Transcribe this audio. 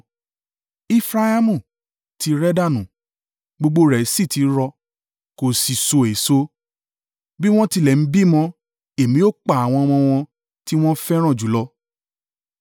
Efraimu ti rẹ̀ dànù gbogbo rẹ̀ sì ti rọ, kò sì so èso. Bí wọ́n tilẹ̀ bímọ. Èmi ó pa àwọn ọmọ wọn tí wọ́n fẹ́ràn jùlọ.”